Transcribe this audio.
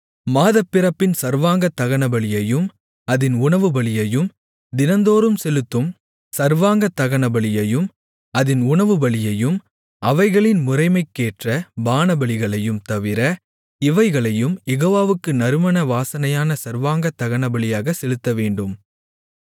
மாதப்பிறப்பின் சர்வாங்கதகனபலியையும் அதின் உணவுபலியையும் தினந்தோறும் செலுத்தும் சர்வாங்கதகனபலியையும் அதின் உணவுபலியையும் அவைகளின் முறைமைக்கேற்ற பானபலிகளையும் தவிர இவைகளையும் யெகோவாவுக்கு நறுமண வாசனையான சர்வாங்கதகனபலியாகச் செலுத்தவேண்டும்